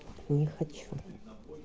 не хочу